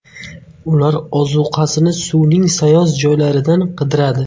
Ular ozuqasini suvning sayoz joylaridan qidiradi.